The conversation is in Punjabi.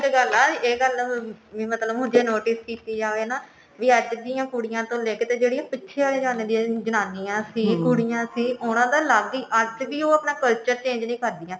ਪਰ ਇੱਕ ਗੱਲ ਹੈ ਇਹ ਗੱਲ ਮਤਲਬ ਕਿ ਹੁਣ ਜੇ notice ਕੀਤੀ ਜਾਵੇ ਵੀ ਅੱਜ ਦੀ ਕੁੜੀਆਂ ਤੋਂ ਲੈਕੇ ਤੇ ਜਿਹੜੀਆਂ ਪਿੱਛੇ ਆ ਜਾਂਦੀਆਂ ਨੇ ਜਨਾਨੀਆ ਸੀ ਕੁੜੀਆਂ ਸੀ ਉਹਨਾਂ ਦਾ ਅੱਲਗ ਹੀ ਅੱਜ ਵੀ ਉਹ ਆਪਣਾ culture change ਨਹੀਂ ਕਰਦੀਆਂ